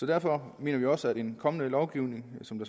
derfor mener vi også at en kommende lovgivning som